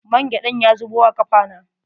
Mangyaɗan ya zubu a kafa na.